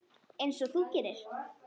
Einsog þú gerir?